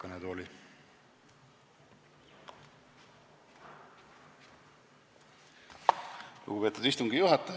Lugupeetud istungi juhataja!